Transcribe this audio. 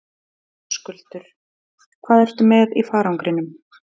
Höskuldur: Hvað ertu með í farangrinum?